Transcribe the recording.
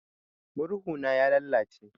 Murhu na ya lalace.